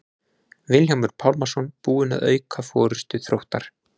Vilhjálmur Pálmason búinn að auka forystu Þróttar.